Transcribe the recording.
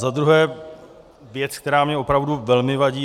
Za druhé věc, která mi opravdu velmi vadí.